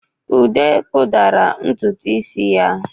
Udo kpudara ntutu isi ya.